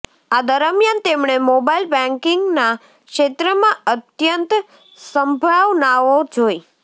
આ દરમિયાન તેમણે મોબાઈલ બેન્કિંગના ક્ષેત્રમાં અત્યંત સંભાવનાઓ જોઈ